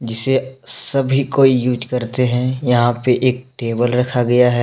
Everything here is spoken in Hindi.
जिसे सभी को यूज़ करते हैं यहाँ पे एक टेबल रखा गया है।